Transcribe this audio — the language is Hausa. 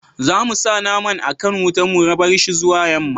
za mu sa naman a kan wuta mu barshi zuwa yamma